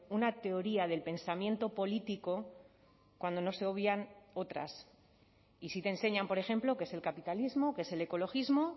una teoría del pensamiento político cuando no se obvian otras y sí te enseñan por ejemplo qué es el capitalismo qué es el ecologismo